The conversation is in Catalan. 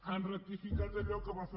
han ratificat allò que van fer